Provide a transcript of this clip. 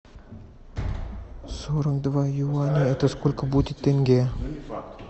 сорок два юаня это сколько будет тенге